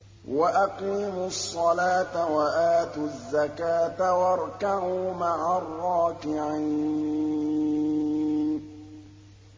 وَأَقِيمُوا الصَّلَاةَ وَآتُوا الزَّكَاةَ وَارْكَعُوا مَعَ الرَّاكِعِينَ